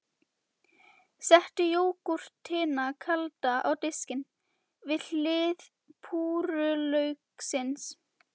Settu jógúrtina kalda á diskinn, við hlið púrrulauksins.